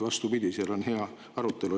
Vastupidi, seal on hea arutelu.